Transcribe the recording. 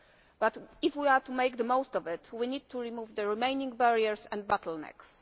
But, if we are to make the most of it, we need to remove the remaining barriers and bottlenecks.